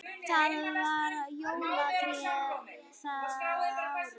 Það var jólatré það árið.